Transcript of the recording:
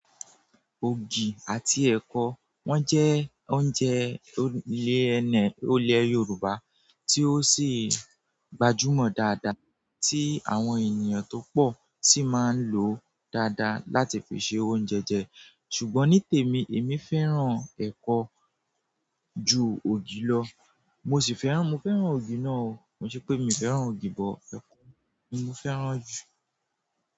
Ògì àti ẹ̀kọ, wọ́n jẹ́ oúnjẹ ilẹ̀ ẹni, ilẹ̀ Yorùbá tí ó sì gbajúmọ̀ dáadáa tí àwọn ènìyàn tó pọ̀ sì máa ń lòó dáadáa láti fi se oúnjẹ je. Ṣùgbọ́n ní tèmi, èmi fẹ́ràn ẹ̀kọ ju ògì lọ. Mo sì fẹ́ràn, mo fẹ́ràn ògì náà o. Ko n ṣe pé mi fẹ́ràn ògì but ẹ̀kọ ni mo fẹ́ràn jù.